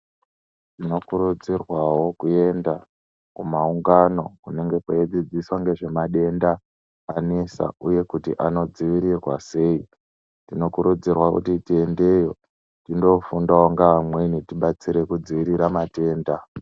Tinokurudzirwawo kuenda kumaungano kunonga kweidzidziswa ngezvemadenda anesa uye kuti anodziirirwa sei tinokurudzirwa kuti tiendeyo tindofundawo ngeamweni tibatsire kudziirira matenda.